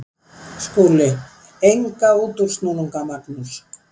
SKÚLI: Enga útúrsnúninga, Magnús.